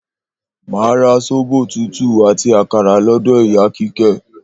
Màá ra Sóbò tútú àti àkàrà ló̩dò̩ ìyá Kíké̩